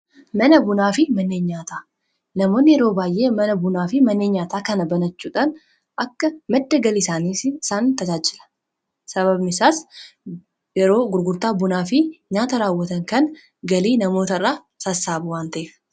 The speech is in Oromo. mana bunaa fi mana nyaataa yeroo baay'ee mana bunaa fi mannee nyaataa kana banachuutan akka madda galii isaanii san tajaajila sababmisaas yeroo gurgurtaa bunaa fi nyaata raawwatan kan galii namoota irraa sassaaba wan ta'eef